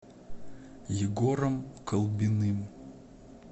егором колбиным